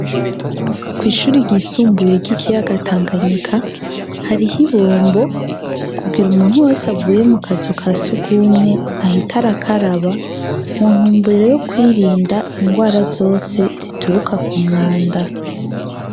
kw'ishuri ryisumbuye ry'ikiyaga tanganyika hariho ibombo kugira umuntu wese avuye mu kazu kasugumwe ahita arakaraba muntumbere yo kwirinda ingwara zose zituruka ku mwanda.